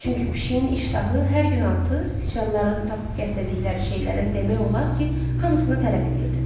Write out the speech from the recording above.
Çünki pişiyin iştahı hər gün artır, siçanların tapıb gətirdikləri şeylərin demək olar ki, hamısını tələb eləyirdi.